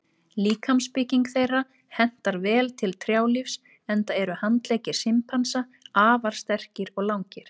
Líkamsbygging þeirra hentar vel til trjálífs enda eru handleggir simpansa afar sterkir og langir.